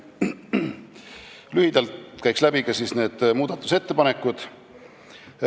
Käin lühidalt läbi muudatusettepanekud.